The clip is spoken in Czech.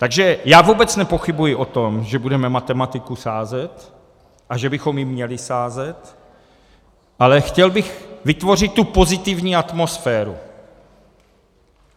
Takže já vůbec nepochybuji o tom, že budeme matematiku sázet a že bychom ji měli sázet, ale chtěl bych vytvořit tu pozitivní atmosféru.